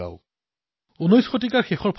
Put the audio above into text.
bin নিজ ভাষাজ্ঞান কে মিটত না হিয় কা শূল